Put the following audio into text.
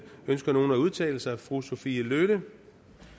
ønsker nogen at udtale sig fru sophie løhde